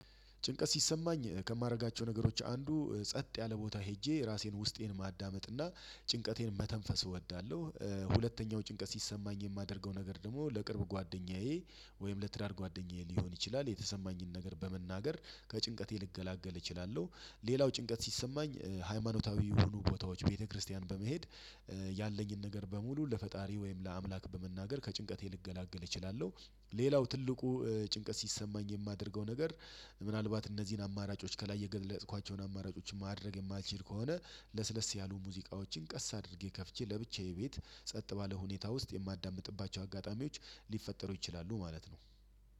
ጭንቀት ሲሰማኝ ከማደርጋቸው ነገሮች አንዱ ጸጥ ያለ ቦታ ሄጄ ራሴን ውስጤን ማዳመጥና ጭንቀቴን መተንፈስ እወዳለሁ። ሁለተኛው ጭንቀት ሲሰማኝ የማደርገው ነገር ደግሞ ለቅርብ ጓደኛዬ ወይም ለትዳር ጓደኛዬ ሊሆን ይችላል የተሰማኝን ነገር በመናገር ከጭንቀቴ ልገላገል እችላለሁ። ሌላው ጭንቀት ሲሰማኝ ሃይማኖታዊ የሆኑ ቦታዎች ቤተክርስቲያን በመሄድ ያለኝን ነገር በሙሉ ለፈጣሪ ወይም ለአምላክ በመናገር ከጭንቀቴ ልገላገል እችላለሁ። ሌላው ትልቁ ጭንቀት ሲሰማኝ የማደርገው ነገር ምናልባት እነዚህን አማራጮች ከላይ የገለጽኳቸውን አማራጮች ማድረግ የማልችል ከሆነ ለስለስ ያሉ ሙዚቃዎችን ቀስ አድርጌ ከፍቼ ለብቻዬ ቤት ጸጥ ባለ ሁኔታ ውስጥ የማዳምጥባቸው አጋጣሚዎች ሊፈጠሩ ይችላሉ ማለት ነው።